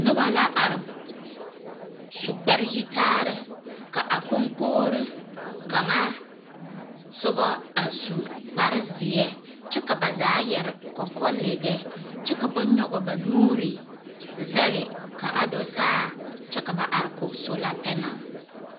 Noba la are su kpare yitaare Ka a koŋkogiri kaŋa soba a su kpare zeɛ kyɛ ka ba zaa yɛre kɔkɔlɔgɔ kyɛ ka ba nyɔge ba nuuri zɛge ka do saa kyɛ ka ba are kɔge sola panal.